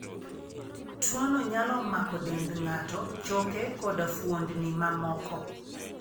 Tuwono nyalo mako dend ng'ato, choke, koda fuondni mamoko.